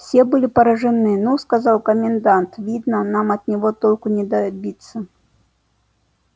все были поражены ну сказал комендант видно нам от него толку не добиться